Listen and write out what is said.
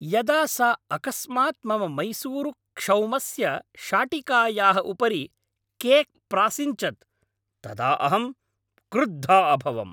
यदा सा अकस्मात् मम मैसूरुक्षौमस्य शाटिकायाः उपरि केक् प्रासिञ्चत् तदा अहं क्रुद्धा अभवम्।